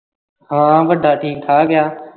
ਹਾਂ ਵਁਡਾ ਠੀਕ-ਠਾਕ ਆ